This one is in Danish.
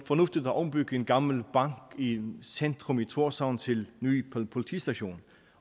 fornuftigt at ombygge en gammel bank i centrum af tórshavn til en ny politistation